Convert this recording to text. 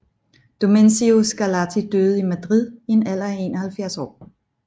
Domenico Scarlatti døde i Madrid i en alder af 71 år